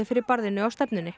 fyrir barðinu á stefnunni